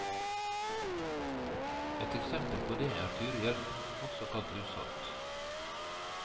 Ett eksempel på det er tyrihjelm, også kalt lushatt.